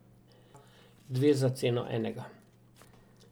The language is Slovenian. Dve za ceno enega.